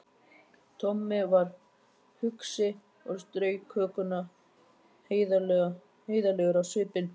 Tommi var hugsi og strauk hökuna heiðarlegur á svipinn.